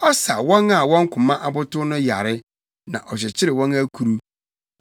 Ɔsa wɔn a wɔn koma abotow no yare, na ɔkyekyere wɔn akuru.